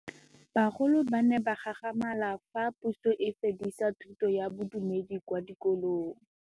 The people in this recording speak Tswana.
Bagolo ba ne ba gakgamala fa Pusô e fedisa thutô ya Bodumedi kwa dikolong.